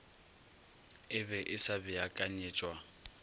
e be e sa beakanyetšwa